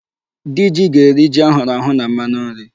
Diji ga-eri ji a hụrụ ahụ na mmanụ nri.